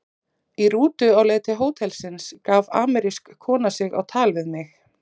Í rútu á leið til hótelsins gaf amerísk kona sig á tal við mig.